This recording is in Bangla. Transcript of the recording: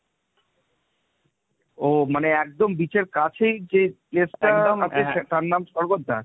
ও মানে একদম beach এর কাছেই মনে যে get টা তার নাম স্বর্গদ্বার?